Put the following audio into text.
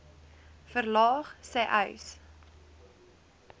verlaag sê uys